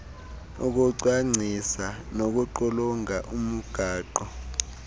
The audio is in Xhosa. ukucwangcisa nokuqulunqa umgaqo